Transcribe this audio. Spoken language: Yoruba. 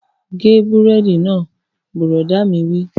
Gé búrẹ́dì náà! Bùrọ̀dá mi wí